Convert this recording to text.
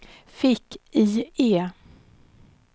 fick-IE